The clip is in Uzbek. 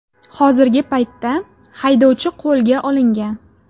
Hozirgi paytda haydovchi qo‘lga olingan.